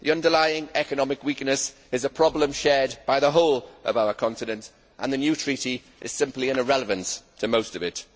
The underlying economic weakness is a problem shared by the whole of our continent and the new treaty is simply an irrelevance to most of it.